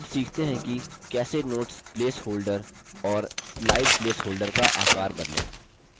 अब सीखते हैं कि कैसे notes place holder और slide place holder का आकार बदलें